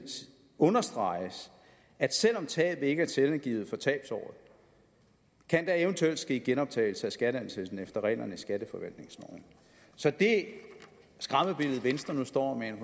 understreges at selv om tabet ikke er selvangivet for tabsåret kan der eventuelt ske genoptagelse af skatteansættelsen efter reglerne i skatteforvaltningsloven så det skræmmebillede venstre nu står